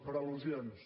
per al·lusions